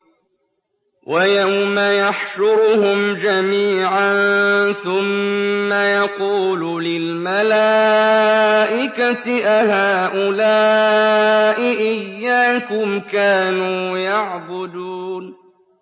وَيَوْمَ يَحْشُرُهُمْ جَمِيعًا ثُمَّ يَقُولُ لِلْمَلَائِكَةِ أَهَٰؤُلَاءِ إِيَّاكُمْ كَانُوا يَعْبُدُونَ